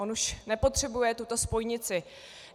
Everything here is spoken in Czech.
On už nepotřebuje tuto spojnici.